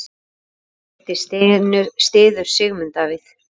Vigdís styður Sigmund Davíð.